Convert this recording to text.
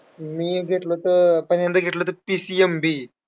मी घेतलं होतं, पहिल्यांदा घेतलं होतं PCMB.